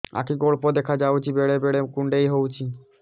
ଆଖି କୁ ଅଳ୍ପ ଦେଖା ଯାଉଛି ବେଳେ ବେଳେ କୁଣ୍ଡାଇ ହଉଛି